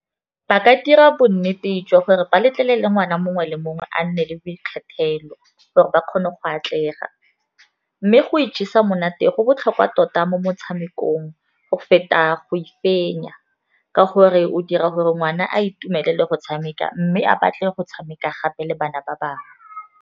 Ba ka dira bonnete jwa gore ba letlelele ngwana mongwe le mongwe a nne le boikgethelo, gore ba kgone go atlega. Mme go ijesa monate go botlhokwa tota mo motshamekong, go feta go e fenya, ka gore o dira gore ngwana a itumelele go tshameka mme a batle go tshameka gape le bana ba bangwe.